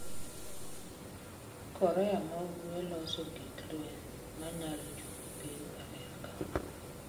Korea ma Ugwe loso gik lweny ma nyalo chopo piny Amerka.